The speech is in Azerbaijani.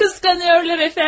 Qısqanırlar əfəndim.